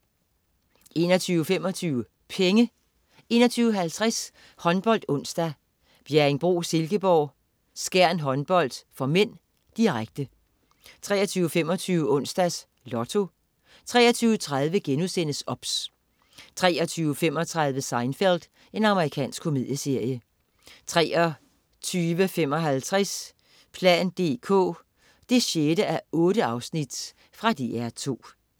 21.25 Penge 21.50 HåndboldOnsdag: Bjerringbro-Silkeborg - Skjern Håndbold (m), direkte 23.25 Onsdags Lotto 23.30 OBS* 23.35 Seinfeld. Amerikansk komedieserie 23.55 plan dk 6:8. Fra DR2